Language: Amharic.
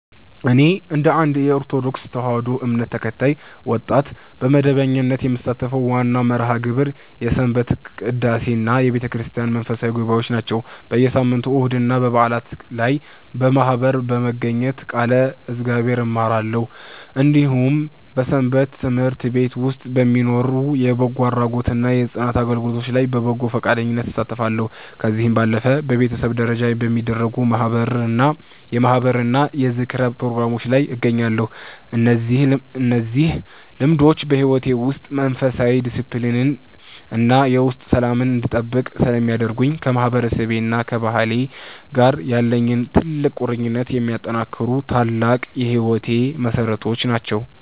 እኔ እንደ አንድ የኦርቶዶክስ ተዋሕዶ እምነት ተከታይ ወጣት፣ በመደበኛነት የምሳተፍበት ዋናው መርሃ ግብር የሰንበት ቅዳሴና የቤተክርስቲያን መንፈሳዊ ጉባኤዎች ናቸው። በየሳምንቱ እሁድና በዓላት ላይ በማኅበር በመገኘት ቃለ እግዚአብሔርን እማራለሁ፤ እንዲሁም በሰንበት ትምህርት ቤት ውስጥ በሚኖሩ የበጎ አድራጎትና የጽዳት አገልግሎቶች ላይ በበጎ ፈቃደኝነት እሳተፋለሁ። ከዚህ ባለፈም በቤተሰብ ደረጃ በሚደረጉ የማኅበርና የዝክር ፕሮግራሞች ላይ እገኛለሁ። እነዚህ ልምዶች በሕይወቴ ውስጥ መንፈሳዊ ዲስፕሊንን እና የውስጥ ሰላምን እንድጠብቅ ስለሚያደርጉኝ፣ ከማህበረሰቤና ከባህሌ ጋር ያለኝን ጥልቅ ቁርኝት የሚያጠናክሩ ታላቅ የሕይወቴ መሠረቶች ናቸው።